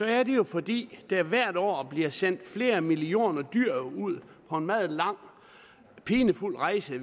er det jo fordi der hvert år bliver sendt flere millioner dyr ud på en meget lang pinefuld rejse